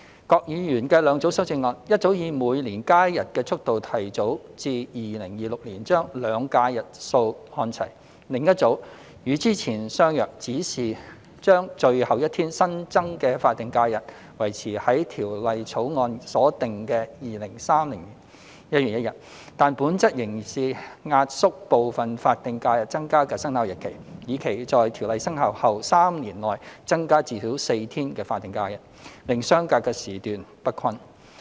郭議員的兩組修正案：一組以每年加一日的速度，提早至2026年將"兩假"日數看齊；另一組與之前相若，只是將最後一天新增的法定假日維持在《條例草案》所訂的2030年1月1日，但本質仍是壓縮部分法定假日增加的生效日期，以期在《條例草案》生效後3年內增加至少4天法定假日，令相隔的時段不均。